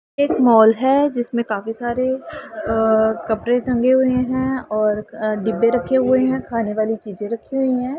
एक मॉल है जिसमें काफी सारे अह कपड़े टंगे हुए हैं और डिब्बे रखे हुए हैं खाने वाली चीजें रखी हुई हैं।